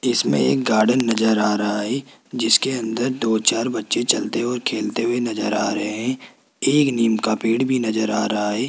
इसमें एक गार्डन नजर आ रहा है जिसके अंदर दो चार बच्चे चलते हुए और खेलते हुए नजर आ रहे हैं एक नीम का पेड़ भी नजर आ रहा है।